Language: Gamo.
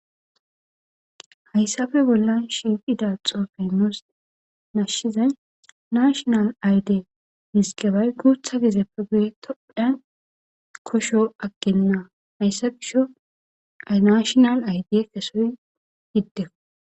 Hayssafe bolla shifida xoofenoos nashshizay nashonal ayde misqebay guutha gizeppe gue tophdhan kosho aggenna hayssa gisho nashonal ayde kesoy giddeo.